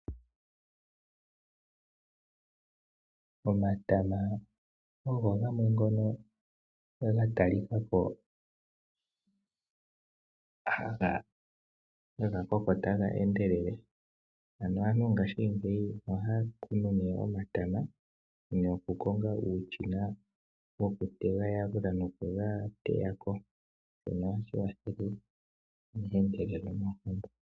Omatama ogo gamwe ngono ga talikako haga koko taga endelele. Ano aantu ngashingeyi ohaya kunu ne omatama noku konga uushina woku ga yalula noku ga teyako. Shino ohashi kwathele mehendelelo lyoompumbwe.